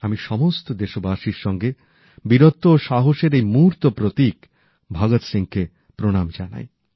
আমি সমস্ত দেশবাসীর সাথে বীরত্ব ও সাহসের এই মূর্ত প্রতীক ভগত সিংকে প্রণাম জানাই